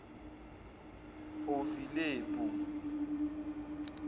ovilepu